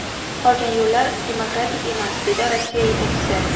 Qolgan yo‘llar demokratik emas”, dedi Rossiya yetakchisi.